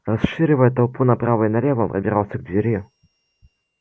расшвыривая толпу направо и налево он пробирался к двери